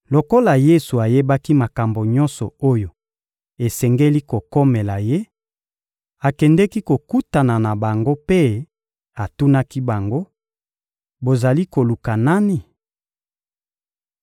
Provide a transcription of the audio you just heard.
Lokola Yesu ayebaki makambo nyonso oyo esengeli kokomela Ye, akendeki kokutana na bango mpe atunaki bango: — Bozali koluka nani?